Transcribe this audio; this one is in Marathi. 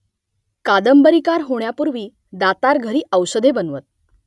कादंबरीकार होण्यापूर्वी दातार घरी औषधे बनवत